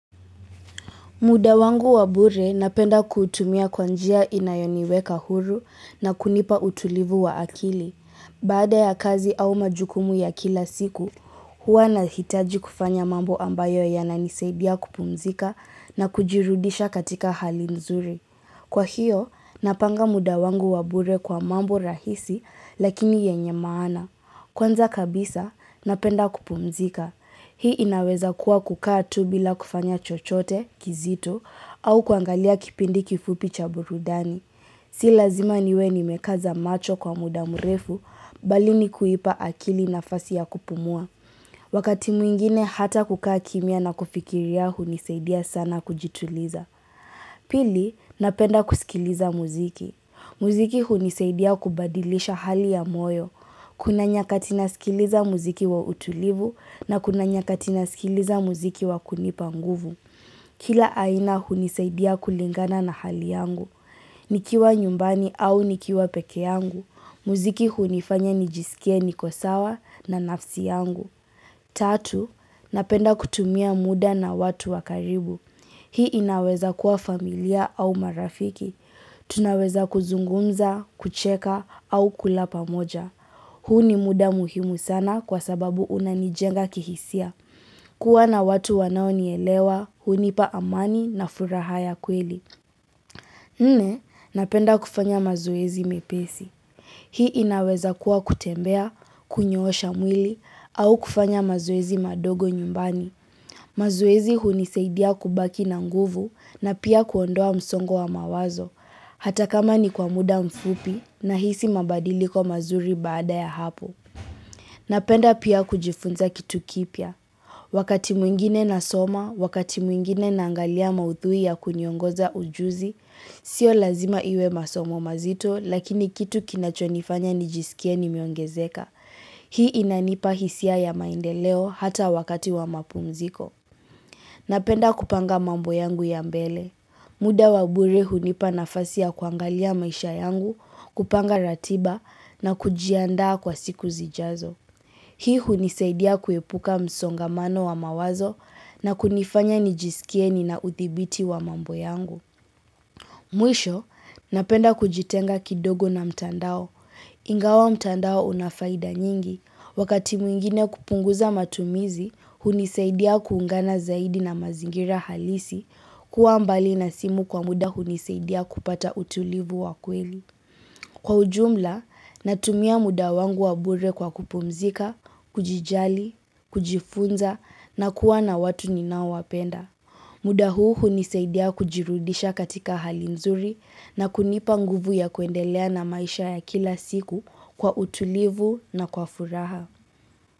Muda wangu wa bure napenda kutumia kwanjia inayoniweka huru na kunipa utulivu wa akili. Baada ya kazi au majukumu ya kila siku, huwa na hitaji kufanya mambo ambayo yananisaidia kupumzika na kujirudisha katika hali nzuri. Kwa hiyo, napanga muda wangu wa bure kwa mambo rahisi lakini yenye maana. Kwanza kabisa, napenda kupumzika. Hii inaweza kuwa kukaa tu bila kufanya chochote, kizitu, au kuangalia kipindi kifupi chaburudani. Si lazima niwe nimekaza macho kwa muda mrefu, balini kuipa akili na fasi ya kupumua. Wakati mwingine hata kukaa kimia na kufikiri ya hunisaidia sana kujituliza. Pili, napenda kusikiliza muziki. Muziki hunisaidia kubadilisha hali ya moyo. Kuna nyakati nasikiliza muziki wa utulivu na kuna nyakatina sikiliza muziki wa kunipanguvu. Kila aina hunisaidia kulingana na hali yangu. Nikiwa nyumbani au nikiwa peke yangu. Muziki hunifanya nijisikie niko sawa na nafsi yangu. Tatu, napenda kutumia muda na watu wakaribu. Hii inaweza kuwa familia au marafiki. Tunaweza kuzungumza, kucheka au kulapa moja. Hu ni muda muhimu sana kwa sababu unanijenga kihisia. Kuwa na watu wanao nielewa, hunipa amani na furaha ya kweli. Nne, napenda kufanya mazoezi mepesi. Hii inaweza kuwa kutembea, kunyosha mwili, au kufanya mazoezi madogo nyumbani. Mazoezi huniseidia kubaki na nguvu na pia kuondoa msongo wa mawazo. Hata kama ni kwa muda mfupi na hisi mabadili kwa mazuri baada ya hapo. Napenda pia kujifunza kitu kipya. Wakati mwingine na soma, wakati mwingine naangalia mauthui ya kuniongoza ujuzi, sio lazima iwe masomo mazito lakini kitu kinachonifanya nijisikie ni miongezeka. Hii inanipa hisia ya maindeleo hata wakati wa mapumziko. Napenda kupanga mambo yangu ya mbele. Muda wabure hunipa nafasia kuangalia maisha yangu kupanga ratiba na kujianda kwa siku zijazo. Hii hunisaidia kuepuka msongamano wa mawazo na kunifanya nijisikieni na uthibiti wa mambo yangu. Mwisho, napenda kujitenga kidogo na mtandao. Ingawa mtandao unafaida nyingi. Wakati mwingine kupunguza matumizi, hunisaidia kuungana zaidi na mazingira halisi kuwa mbali na simu kwa muda huniseidia kupata utulivu wakweli. Kwa ujumla, natumia muda wangu wabure kwa kupumzika, kujijali, kujifunza na kuwa na watu ninao wapenda. Muda huu niseidia kujirudisha katika hali nzuri na kunipa nguvu ya kuendelea na maisha ya kila siku kwa utulivu na kwa furaha.